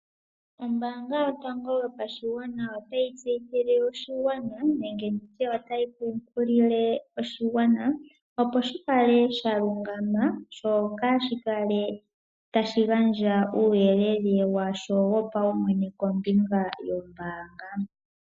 Ombaanga yotango yopashigwana otayi tseyithile oshigwana, nenge nditye otayi kunkilile oshigwana opo shikale sha lungama, opo kaashi kale tashi gandja uuyelele washo wopaumwene kombinga yoombaanga.